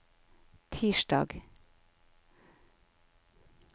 tirsdag